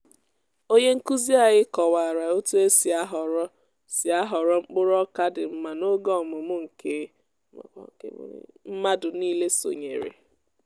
onye nkuzi anyị kọwara otu e si ahọrọ si ahọrọ mkpụrụ oka dị mma n'oge ọmụmụ nke mmadụ nile sonyere